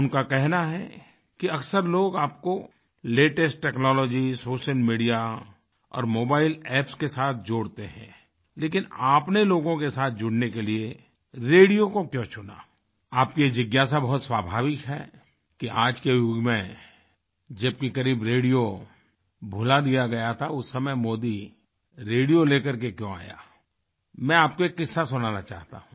उनका कहना है कि अक्सर लोग आपको लेटेस्ट टेक्नोलॉजी सोशल मीडिया और मोबाइल एप्स के साथ जोड़ते हैं लेकिन आपने लोगों के साथ जुड़ने के लिये रेडियो को क्यों चुना आपकी ये जिज्ञासा बहुत स्वाभाविक है कि आज के युग में जबकि करीब रेडियो भुला दिया गया था उस समय मोदी रेडियो लेकर के क्यों आया मैं आपको एक किस्सा सुनाना चाहता हूँ